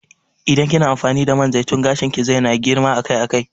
Idan kina amfani da man zaitun gashin ki zai na girma akai akai